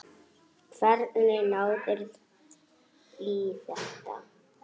Hvernig náðirðu í þetta?